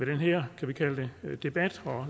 den her debat og